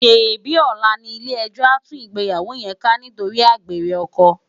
Sébi òlá ni ilé èjò á tú igbéyàwó yèn ká nitóri ágbéré òkò?